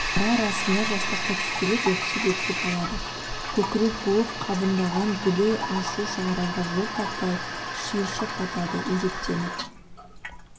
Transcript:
ара-арасында жастықты тістелеп өксіп-өксіп алады көкірек буып қабындаған дүлей ашу шығарға жол таппай шиыршық атады өжеттеніп